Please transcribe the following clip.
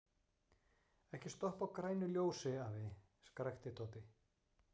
Ekki stoppa á grænu ljósi, afi! skrækti Tóti.